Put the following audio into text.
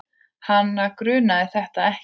Hana grunaði þetta ekki.